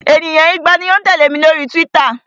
Ènìyàn igba ni ó ń tẹ̀lẹ́ mi lórí Twitter.